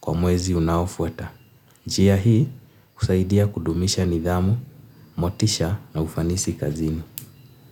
kwa mwezi unaofuata. Njia hii husaidia kudumisha nidhamu, motisha na ufanisi kazini.